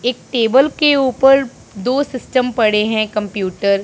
एक टेबल के ऊपर दो सिस्टम पड़े हैं कंप्यूटर --